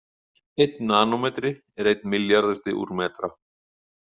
Einn nanómetri er einn milljarðasti úr metra.